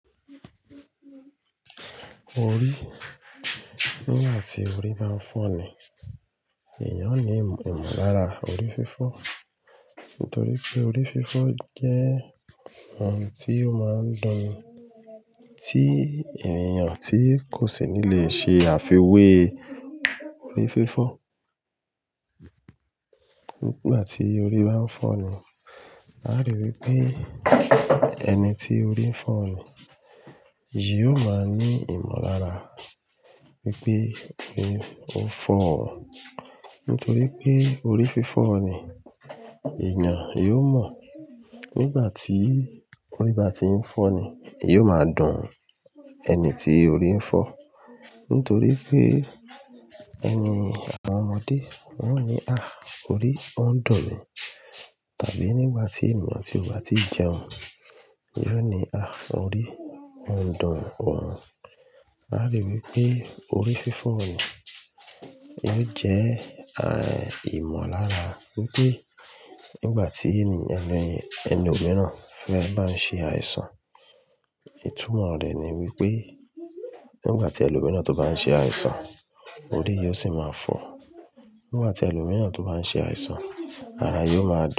Orí, nígbà tí orí bá ń fọ́ ni, èèyàn o ní ìmọ̀lára orí fífọ́. Nítorí pé orí fífọ́ jẹ́ ohun tí ó máa ń dùn ni, tí èèyàn tí kò sì ní lè ṣe àfiwé orí fífọ́. Nígbà tí orí bá ń fọ́ ni, a rí wípé ẹni tí orí ń fọ́ ni, yió máa ní ìmọ̀lára wípé orí ó ń fọ́. Nítorí pé orí fífọ́ ni, èèyàn yóò mọ̀ nígbà tí orí bá ti ń fọ́ ni, yíó máa dùn ẹni tí orí ń fọ́. Nítorí pé ẹni àwọn ọmọdé wọ́n ní, à! Orí ọ́ n dùn mí." Tàbí nígbà tí ènìyàn ti o bá tí jẹun, yóò ní, "à! Orí ó ń dùn òun." A lè wípé orí fífọ́ ni yóò jẹ́ a ìmọ̀lára wípé nígbà tí ènìyàn rẹ ẹni ọmọbìnrin fẹ́ bá ń ṣe àìsàn, ìtumọ̀ rẹ̀ ni wípé nígbà tí ẹlòmíràn tó bá ń ṣe àìsàn, orí yìí ó sì máa ń fọ́. Nígbà tí ẹlòmíràn tó bá ń ṣe àìsàn, ara yìí ó máa dùn.